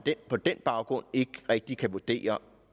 på den baggrund ikke rigtig kan vurdere